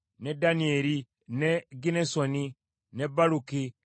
ne Danyeri, ne Ginnesoni, ne Baluki,